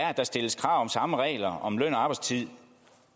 er at der stilles krav om samme regler om løn arbejdstid